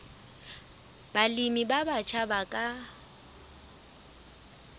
balemi ba batjha ba ka